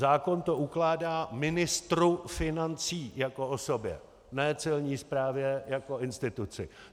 Zákon to ukládá ministru financí jako osobě, ne Celní správě jako instituci.